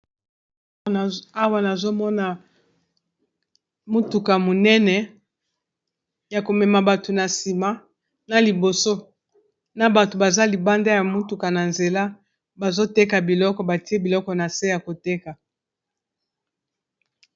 Awa nazomona motuka monene ya ko mema bato na nsima na liboso na bato baza libanda ya motuka na nzela bazo teka biloko batie biloko na se ya koteka.